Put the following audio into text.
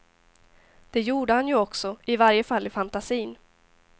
Det gjorde han ju också, i varje fall i fantasin.